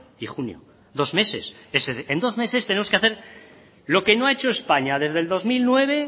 y junio dos meses en dos meses tenemos que hacer lo que no ha hecho españa desde el dos mil nueve